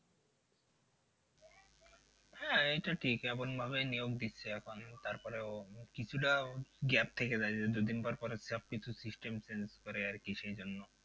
হ্যাঁ এটা ঠিক এমন ভাবেই নিয়োগ দিচ্ছে এখন তারপরে ও কিছুটা gap থেকে যায় যে দু দিন পর পরে সব কিছু system change করে আর কি সেই জন্য।